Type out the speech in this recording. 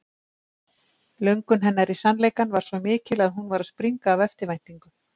Löngun hennar í sannleikann var svo mikil að hún var að springa af eftirvæntingu.